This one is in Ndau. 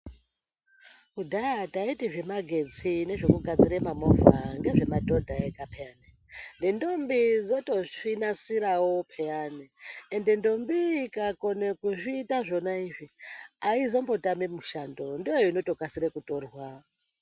Kudhaya taiti zvemagetsi nezvekugadzira mamovha ngezvemadhodha ega peyani nendombi dzoto zvinasirawo peyani ende ndombi iyi ikakone kuzviita zvona izvi aizombotami mushando ndoinotokasire kutorwa.